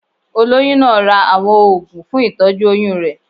Olóyún náà ra àwọn oògùn fún ìtọ́jú oyún rẹ̀.